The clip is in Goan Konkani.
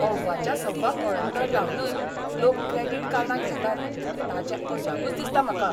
अव्वाच्या सव्वा कळंतर लावनय लोक क्रेडिट कार्डां घेतात ताचें अजापच दिसता म्हाका.